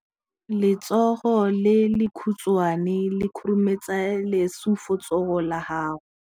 Letsogo le lekhutshwane le khurumetsa lesufutsogo la gago.